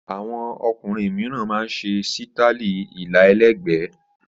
Àwọn ọkùnrin mìíràn máa ń ṣe sítáálì ilà ẹlẹ́gbẹ̀ẹ́.